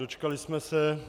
Dočkali jsme se.